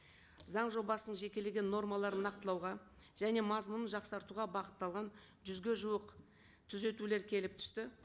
заң жобасының жекелеген нормаларын нақтылауға және мазмұның жақсартуға бағытталған жүзге жуық түзетулер келіп түсті